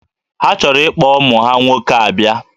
Ha chọrọ ikpọ ụmụ ha nwoke a bịa